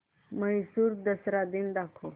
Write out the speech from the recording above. म्हैसूर दसरा दिन दाखव